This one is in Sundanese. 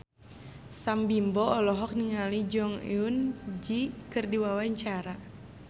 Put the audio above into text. Sam Bimbo olohok ningali Jong Eun Ji keur diwawancara